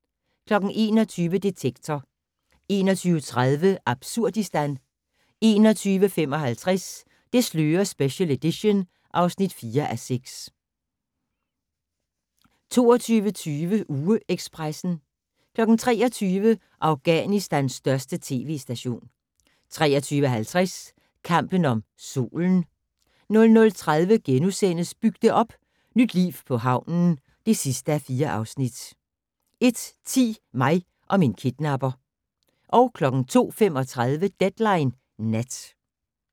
21:00: Detektor 21:30: Absurdistan 21:55: Det slører special edition (4:6) 22:20: UgeEkspressen 23:00: Afghanistans største tv-station 23:50: Kampen om Solen 00:30: Byg det op - Nyt liv på havnen (4:4)* 01:10: Mig og min kidnapper 02:35: Deadline Nat